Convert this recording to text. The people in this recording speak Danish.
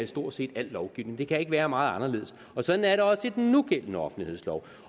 stort set al lovgivning det kan ikke være meget anderledes og sådan er det også i den nugældende offentlighedslov